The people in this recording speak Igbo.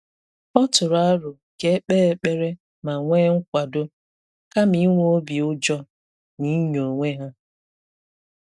Ọ tụrụ aro ka e kpee ekpere ma nwee nkwàdò, kama inwe obi ụjọ na inyo onwe ha.